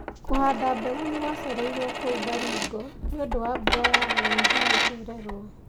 Kũhanda mbegũ nĩ kwacereririo kũu Baringo nĩ ũndũ wa mbura ya OND gucererwo.